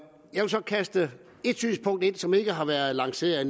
kaste et synspunkt ind som ikke har været lanceret